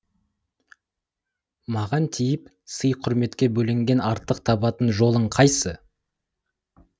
маған тиіп сый құрметке бөленгеннен артық табатын жолың қайсы